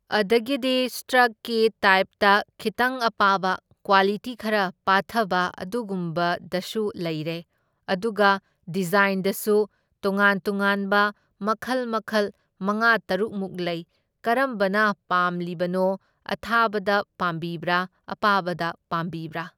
ꯑꯗꯒꯤꯗꯤ ꯁꯇ꯭ꯔꯛꯀꯤ ꯇꯥꯏꯞꯇ ꯈꯤꯠꯇꯪ ꯑꯄꯥꯕ ꯀ꯭ꯋꯥꯂꯤꯇꯤ ꯈꯔ ꯄꯥꯊꯕ ꯑꯗꯨꯒꯨꯝꯕꯗꯁꯨ ꯂꯩꯔꯦ, ꯑꯗꯨꯒ ꯗꯤꯖꯥꯏꯟꯗꯁꯨ ꯇꯣꯉꯥꯟ ꯇꯣꯉꯥꯟꯕ ꯃꯈꯜ ꯃꯈꯜ ꯃꯉꯥ ꯇꯔꯨꯛꯃꯨꯛ ꯂꯩ, ꯀꯔꯝꯕꯅ ꯄꯥꯝꯂꯤꯕꯅꯣ? ꯑꯊꯥꯕꯗ ꯄꯥꯝꯕꯤꯕ꯭ꯔꯥ ꯑꯄꯥꯕꯗ ꯄꯥꯝꯕꯤꯕ꯭ꯔꯥ?